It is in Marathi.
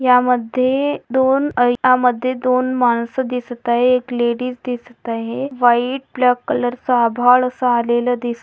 यामध्ये दोन आ यामध्ये दोन माणसं दिसत आहे लेडिज दिसत आहे व्हाइट ब्लॅक कलर सा आभाळ असा आलेला दिस--